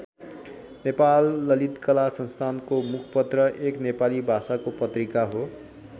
नेपाल ललित कला संस्थाको मुखपत्र एक नेपाली भाषाको पत्रिका हो।